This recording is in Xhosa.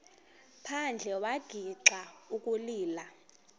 phandle wagixa ukulila